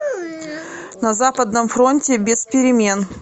на западном фронте без перемен